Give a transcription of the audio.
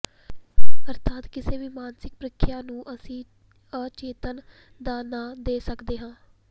ਅਰਥਾਤ ਕਿਸੇ ਵੀ ਮਾਨਸਿਕ ਪ੍ਰਕ੍ਰਿਆ ਨੂੰ ਅਸੀਂ ਅਚੇਤਨ ਦਾ ਨਾਂ ਦੇ ਸਕਦੇ ਹਾਂ